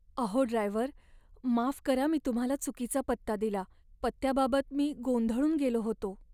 अहो ड्रायव्हर! माफ करा मी तुम्हाला चुकीचा पत्ता दिला. पत्त्याबाबत मी गोंधळून गेलो होतो.